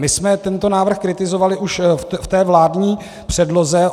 My jsme tento návrh kritizovali už v té vládní předloze.